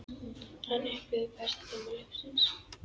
Hann upplifði bestu tíma lífs síns.